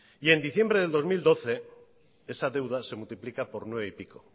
y en diciembre del dos mil doce esa deuda se multiplica por nueve y pico